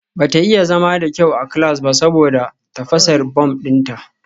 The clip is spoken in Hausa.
Bata iya zama da kyau a class ba saboda tafasar bom dinta